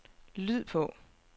lyd på